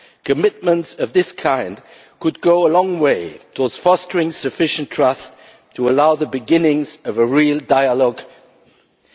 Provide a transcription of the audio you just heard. Commitments of this kind could go a long way towards fostering sufficient trust to allow the beginnings of a real dialogue on transition.